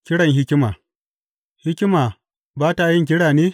Kiran hikima Hikima ba ta yin kira ne?